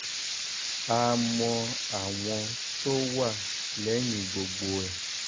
a mọ àwọn tó wà lẹ́yìn gbogbo ẹ̀